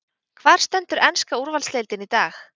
Hvar stendur enska úrvalsdeildin í dag?